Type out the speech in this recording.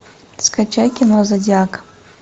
скачай кино зодиак